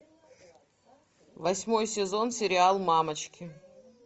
восьмой сезон сериал мамочки